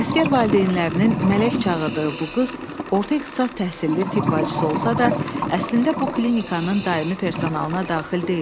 Əsgər valideynlərinin mələk çağırdığı bu qız orta ixtisas təhsilli tibb bacısı olsa da, əslində bu klinikanın daimi personalına daxil deyildi.